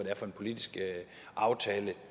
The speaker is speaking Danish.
er for en politisk aftale